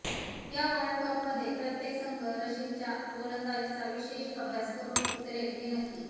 या वर्ल्डकपमध्ये प्रत्येक संघ राशिदच्या गोलंदाजीचा विशेष अभ्यास करून उतरेल हे नक्की